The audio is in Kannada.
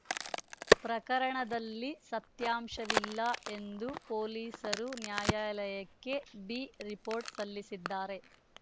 ಪ್ರಕರಣದಲ್ಲಿ ಸತ್ಯಾಂಶವಿಲ್ಲ ಎಂದು ಪೊಲೀಸರು ನ್ಯಾಯಾಲಯಕ್ಕೆ ಬಿ ರಿಪೋರ್ಟ್‌ ಸಲ್ಲಿಸಿದ್ದಾರೆ